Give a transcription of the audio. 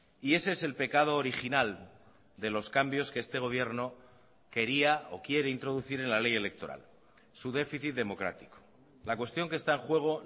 y ese es el pecado original de los cambios que este gobierno quería o quiere introducir en la ley electoral su déficit democrático la cuestión que está en juego